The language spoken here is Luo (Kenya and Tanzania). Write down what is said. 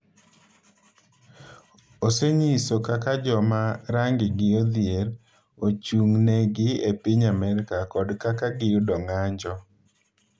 Osenyiso kaka jo ma rangigi odhier ochung’negi e piny Amerka kod kaka giyudo ng’anjo.